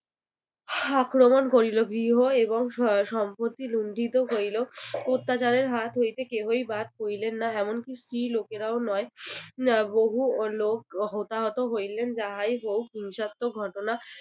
আক্রমণ করিল গৃহ এবং স~ সম্পত্তি লুন্ঠিত হইল, অত্যাচার হাত হইতে কেহই বাদ পড়িলেন না এমনকি স্ত্রী লোকেরাও নয় বহু লোক হতাহত হইলেন। যাই হোক হিংসাত্মক ঘটনা